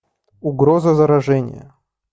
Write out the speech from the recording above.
угроза заражения